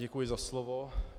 Děkuji za slovo.